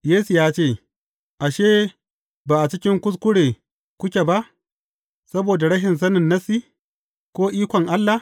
Yesu ya ce, Ashe, ba a cikin kuskure kuke ba saboda rashin sanin Nassi, ko ikon Allah?